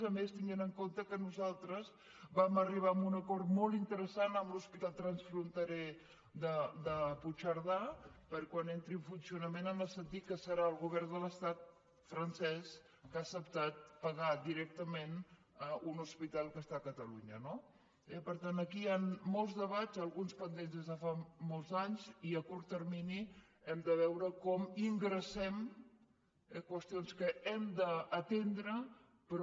a més tenint en compte que nosaltres vam arribar a un acord molt interessant amb l’hospital transfronterer de puigcerdà per quan entri en funcionament en el sentit que serà el govern de l’estat francès que ha acceptat pagar directament un hospital que està a catalunya no per tant aquí hi ha molts debats alguns pendents des de fa molts anys i a curt termini hem de veure com ingressem qüestions que hem d’atendre però